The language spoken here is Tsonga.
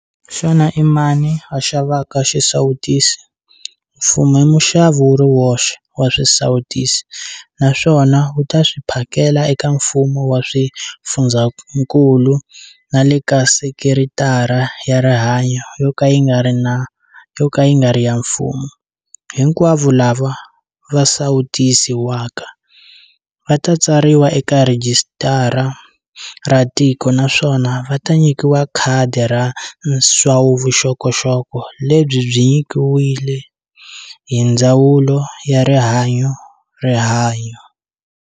Xana i mani a xavaka xisawutisi? Mfumo i muxavi wu ri woxe wa swisawutisi naswona wu ta swi phakela eka mfumo wa swifundzakulu na le ka sekeritara ya rihanyu yo ka yi nga ri ya mfumo. Hinkwavo lava va sawutisiwaka va ta tsariwa eka rhijisitara ra tiko naswona va ta nyikiwa khadi ra nsawuvuxokoxoko lebyi byi nyikiwile hi Ndzawulo ya Rihanyu RIHANYU.